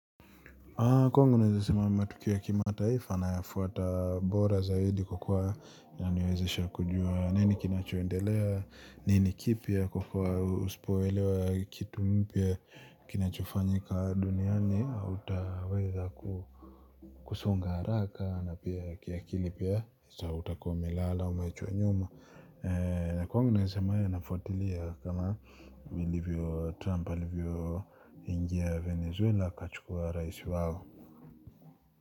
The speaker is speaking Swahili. Kwangu naweza sema matukio ya kimataifa nayafuata bora zaidi kwa kuwa yaniwezesha kujua nini kinachoendelea nini kipya kwa kuwa usipoelewa kitu mpya kinachofanyika duniani hautaweza kusonga haraka na pia kiakili pia sa utakuwa umelala, umeachwa nyuma kwa nasemea ya nafuatilia kama vilivyo Trump Alivyo ingia Venezuela Kachukua rahisi wao.